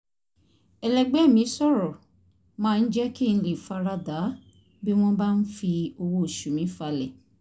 ẹlẹgbẹ́ mi sọ̀rọ̀ máa ń jẹ́ kí n lè fara da bí wọ́n bá ń fi owó oṣù mi falẹ̀